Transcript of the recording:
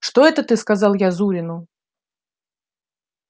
что ты это сказал я зурину